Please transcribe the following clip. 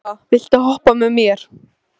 Tóta, viltu hoppa með mér?